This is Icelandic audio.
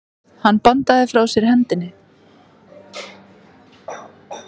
Hann bandaði frá sér hendinni.